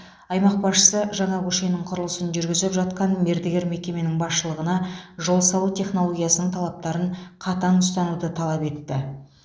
аймақ басшысы жаңа көшенің құрылысын жүргізіп жатқан мердігер мекеменің басшылығына жол салу технологиясының талаптарын қатаң ұстануды талап етті